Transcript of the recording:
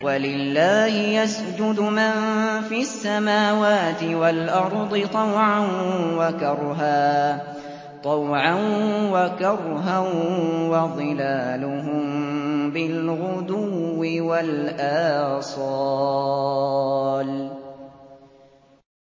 وَلِلَّهِ يَسْجُدُ مَن فِي السَّمَاوَاتِ وَالْأَرْضِ طَوْعًا وَكَرْهًا وَظِلَالُهُم بِالْغُدُوِّ وَالْآصَالِ ۩